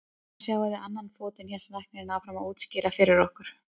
Þarna sjáið þið annan fótinn, hélt læknirinn áfram að útskýra fyrir okkur.